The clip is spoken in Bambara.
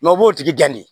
u b'o tigi de